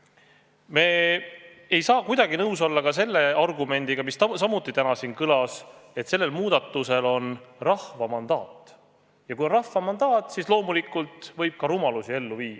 Me ei saa kuidagi nõus olla ka selle argumendiga, mis samuti täna siin kõlas, et sel muudatusel on rahva mandaat ja kui on rahva mandaat, siis loomulikult võib rumalusigi ellu viia.